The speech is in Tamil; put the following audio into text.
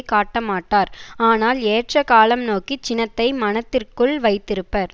காட்டமாட்டார் ஆனால் ஏற்ற காலம் நோக்கி சினத்தை மனத்திற்குள் வைத்திருப்பர்